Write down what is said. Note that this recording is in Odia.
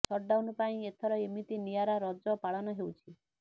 ସଟଡାଉନ ପାଇଁ ଏଥର ଏମିତି ନିଆରା ରଜ ପାଳନ ହେଉଛି